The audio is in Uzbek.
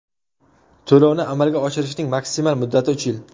To‘lovni amalga oshirishning maksimal muddati - uch yil.